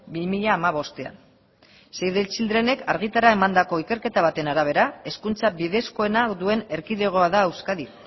bi mila hamabostean save the childrenek argitara emandako ikerketa baten arabera hezkuntza bidezkoena duen erkidegoa da euskadi